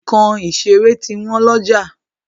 Nǹkan ìṣeré ti wọn lọ́jà.